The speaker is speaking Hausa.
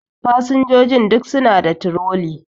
Fasinjojin duk suna da troli